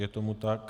Je tomu tak.